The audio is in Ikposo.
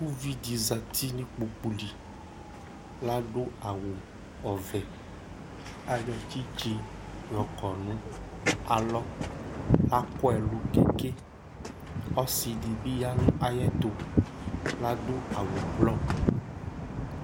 Ʋvidí zɛti nʋ ikpoku li ladu awʋ ɔvɛ Ayɔ tsitsi yɔkɔ nʋ alɔ Laku ɛlu ke ke Ɔsi di bi ya nʋ ayʋɛtu ladu awʋ ɛblɔ